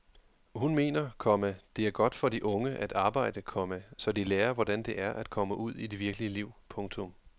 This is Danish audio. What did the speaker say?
Hun mener, komma det er godt for de unge at arbejde, komma så de lærer hvordan det er at komme ud i det virkelige liv. punktum